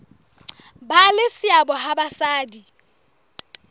ba le seabo ha basadi